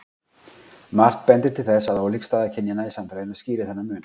margt bendir til þess að ólík staða kynjanna í samfélaginu skýri þennan mun